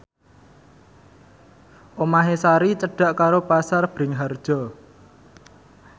omahe Sari cedhak karo Pasar Bringharjo